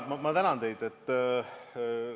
Ma tänan teid!